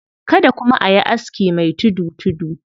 Kada kuma a yi aski mai tudu-tudu.